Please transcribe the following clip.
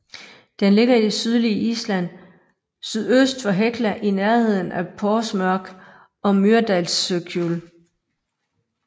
Den ligger i det sydlige Island syd øst for Hekla i nærneden af Þórsmörk og Mýrdalsjökull